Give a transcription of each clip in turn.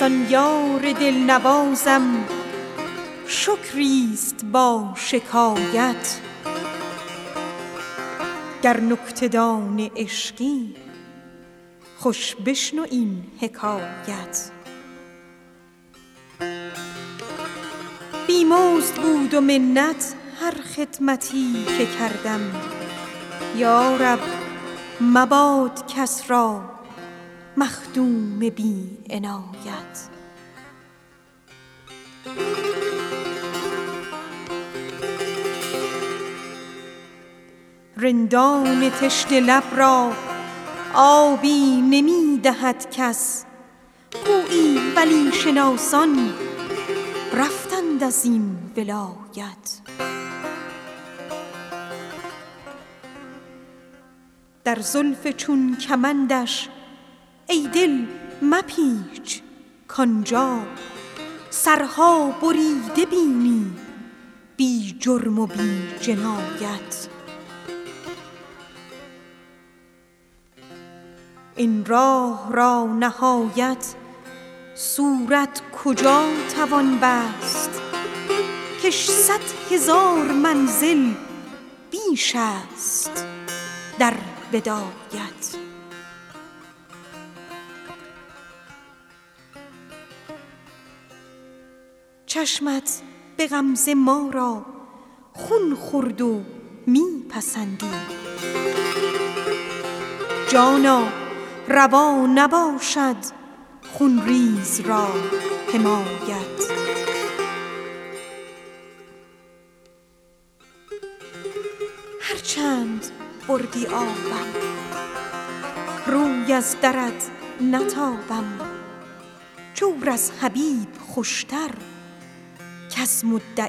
زان یار دل نوازم شکری است با شکایت گر نکته دان عشقی بشنو تو این حکایت بی مزد بود و منت هر خدمتی که کردم یا رب مباد کس را مخدوم بی عنایت رندان تشنه لب را آبی نمی دهد کس گویی ولی شناسان رفتند از این ولایت در زلف چون کمندش ای دل مپیچ کآن جا سرها بریده بینی بی جرم و بی جنایت چشمت به غمزه ما را خون خورد و می پسندی جانا روا نباشد خون ریز را حمایت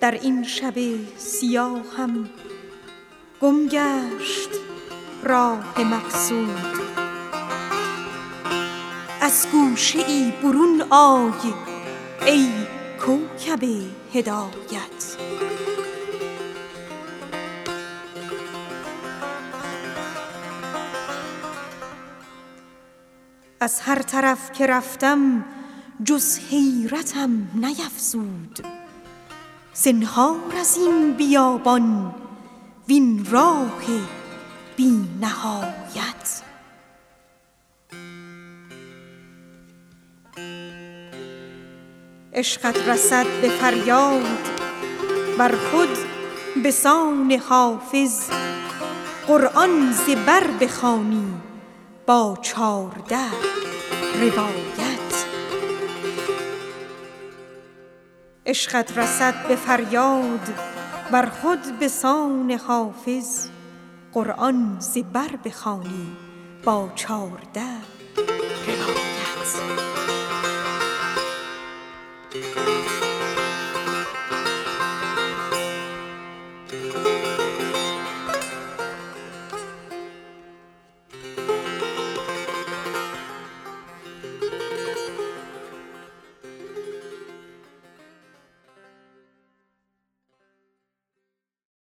در این شب سیاهم گم گشت راه مقصود از گوشه ای برون آی ای کوکب هدایت از هر طرف که رفتم جز وحشتم نیفزود زنهار از این بیابان وین راه بی نهایت ای آفتاب خوبان می جوشد اندرونم یک ساعتم بگنجان در سایه عنایت این راه را نهایت صورت کجا توان بست کش صد هزار منزل بیش است در بدایت هر چند بردی آبم روی از درت نتابم جور از حبیب خوش تر کز مدعی رعایت عشقت رسد به فریاد ار خود به سان حافظ قرآن ز بر بخوانی در چارده روایت